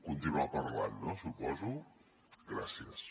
continuar parlant suposo gràcies